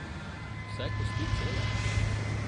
Vse kosti cele?